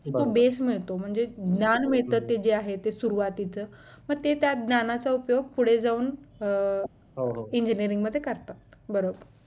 base मिळतो म्हणजे ज्ञान मिळते जे आहे ते सुरुवातीचं मग ते त्या ज्ञानाचा उपयोग पुढे जाऊन अं engineerig मध्ये करतात बरं